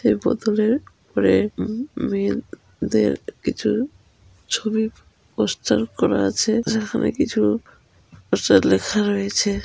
সে বোতলের ওপরে ও ও মেয়েদের কিছু ছবি পোস্টার করা আছে |যেখানে কিছু কিছু লেখা রয়েছে।